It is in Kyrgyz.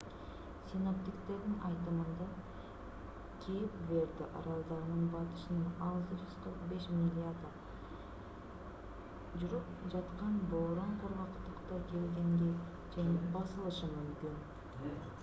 синоптиктердин айтымында кейп верде аралдарынын батышынан 645 миляда 1040 км жүрүп жаткан бороон кургактыкка келгенге чейин басылышы мүмкүн